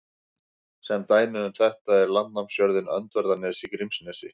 Sem dæmi um þetta er landnámsjörðin Öndverðarnes í Grímsnesi.